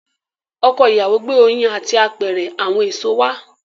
Ọkọ ìyàwó gbé oyin àti apẹ̀rẹ̀ àwọn èṣò wá.